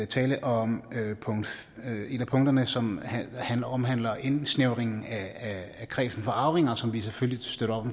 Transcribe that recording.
tale om et punkterne som omhandler indsnævringen af kredsen af arvinger som vi selvfølgelig støtter op